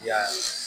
Yala